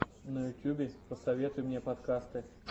на ютюбе посоветуй мне подкасты